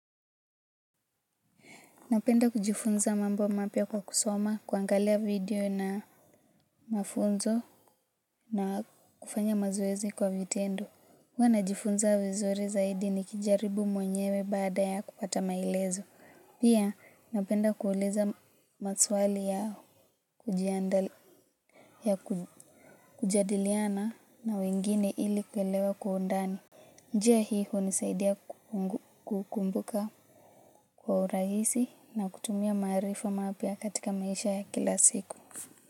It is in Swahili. Napenda kujifunza mambo mapya kwa kusoma kuangalia video na mafunzo na kufanya mazoezi kwa vitendo. Huwa najifunza vizuri zaidi nikijaribu mwenyewe baada ya kupata maelezo. Pia napenda kuuliza maswali yao kujadiliana na wengine ili kuelewa kwa undani. Njia hii hunisaidia kukumbuka kwa urahisi na kutumia maarifa mapya katika maisha. Ya kila siku.